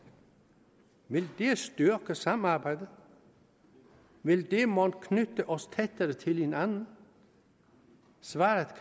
vil det styrke samarbejdet vil det mon knytte os tættere til hinanden svaret